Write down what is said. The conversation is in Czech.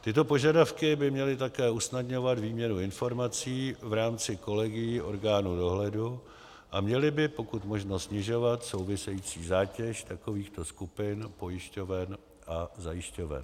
Tyto požadavky by měly také usnadňovat výměnu informací v rámci kolegií orgánů dohledu a měly by pokud možno snižovat související zátěž takovýchto skupin pojišťoven a zajišťoven.